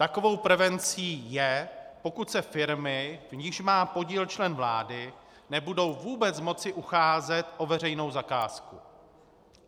Takovou prevencí je, pokud se firmy, v nichž má podíl člen vlády, nebudou vůbec moci ucházet o veřejnou zakázku.